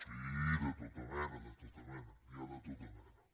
sí de tota mena de tota mena n’hi ha de tota mena